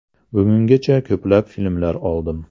Bugungacha ko‘plab filmlar oldim.